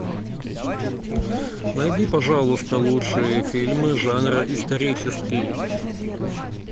найди пожалуйста лучшие фильмы жанра исторический